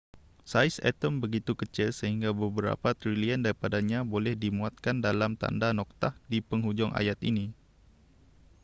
saiz atom begitu kecil sehingga beberapa trilion daripadanya boleh dimuatkan dalam tanda noktah di penghujung ayat ini